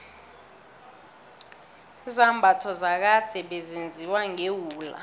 izambatho zakade bezenziwa ngewula